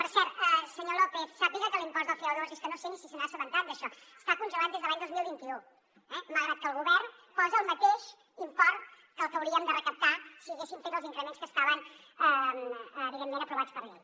per cert senyor lópez sàpiga que l’impost del co2 és que no sé ni si se n’ha assabentat d’això està congelat des de l’any dos mil vint u eh malgrat que el govern posa el mateix import que el que hauríem de recaptar si haguéssim fet els increments que estaven evidentment aprovats per llei